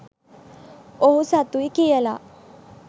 ඔහු සතුයි කියලා